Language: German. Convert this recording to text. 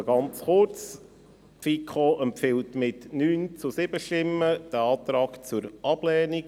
Nur ganz kurz: Die FiKo empfiehlt mit 9 zu 7 Stimmen diesen Antrag zur Ablehnung.